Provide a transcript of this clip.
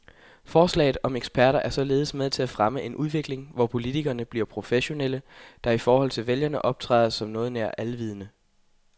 Forslaget om eksperter er således med til at fremme en udvikling, hvor politikerne bliver professionelle, der i forhold til vælgerne optræder som noget nær alvidende.